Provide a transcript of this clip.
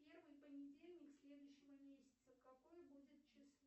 первый понедельник следующего месяца какое будет число